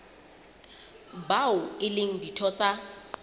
bao e leng ditho tsa